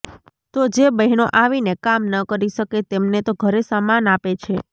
તો જે બહેનો આવીને કામ ન કરી શકે તેમને તો ઘરે સામાન આપે છે